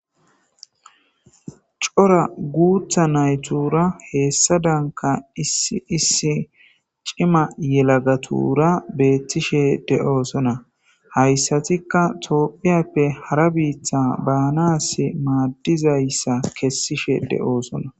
cora guutha naytura heessa danka issi issi cima yelagatura beettishe de'oosona hayssatikka toophiyappe hara biitha baanas maaddizayssa kessishe de'oosona